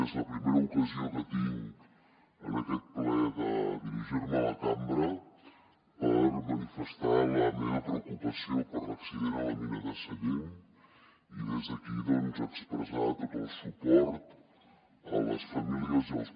és la primera ocasió que tinc en aquest ple de dirigir me a la cambra per manifestar la meva preocupació per l’accident a la mina de sallent i des d’aquí expressar tot el suport a les famílies i als